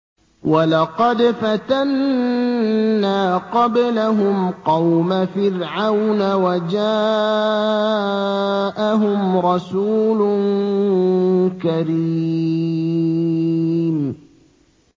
۞ وَلَقَدْ فَتَنَّا قَبْلَهُمْ قَوْمَ فِرْعَوْنَ وَجَاءَهُمْ رَسُولٌ كَرِيمٌ